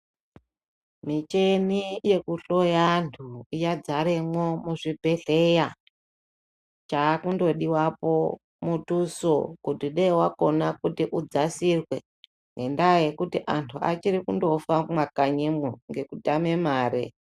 Michini yekuhloya antu yadzaremwo muzvibhehleya. Chaakundodiwapo mutuso kuti dei wakona kuti udzasirwe. Ngendaa yekuti antu achiri kundofa mumakanyimwo ngekutame mare.